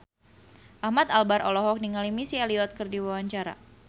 Ahmad Albar olohok ningali Missy Elliott keur diwawancara